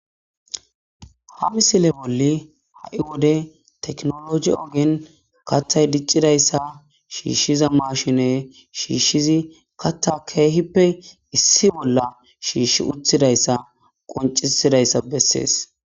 Ha misile boli ha'i wode tekinoloje ogen kathay dicidaysa shishiza mashiney shishizi katha keehippe issi bolla shish wothidaysa qoncisidaysa beses.